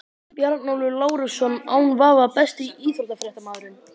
Bjarnólfur Lárusson án vafa Besti íþróttafréttamaðurinn?